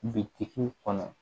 Bitigi kɔnɔ